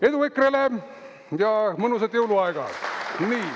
Edu EKRE-le ja mõnusat jõuluaega!